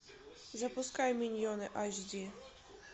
запускай миньоны айч ди